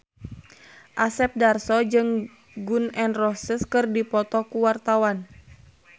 Asep Darso jeung Gun N Roses keur dipoto ku wartawan